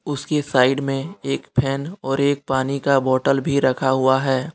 उसके साइड में एक फैन और एक पानी का बोतल भी रखा हुआ है।